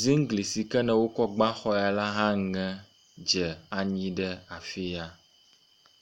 ziŋgli si ke ne wokɔ gbã exɔa la hã ŋɛ dze anyi ɖe afi sia